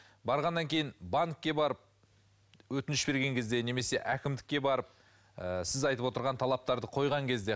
барғаннан кейін банкке барып өтініш берген кезде немесе әкімдікке барып ы сіз айтып отырған талаптарды қойған кезде